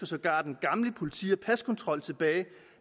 sågar den gamle politi og paskontrol tilbage